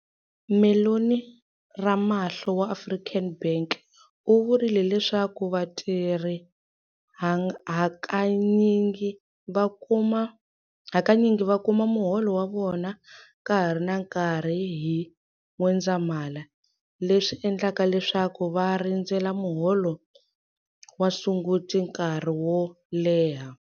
Mellony Ramahlo wa African Bank u vurile leswaku vatirhi hakanyingi va kuma muholo wa vona ka ha ri na nkarhi hi N'wendzamhala, leswi endlaka leswaku va rindzela muholo wa Sunguti nkarhi wo leha.